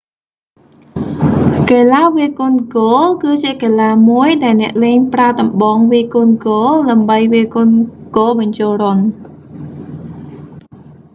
កីឡាវាយកូនហ្គោល គឺជាកីឡាមួយដែលអ្នកលេងប្រើដំបងវាយកូនហ្គោល ដើម្បីវាយកូនហ្គោលបញ្ចូលរន្ធ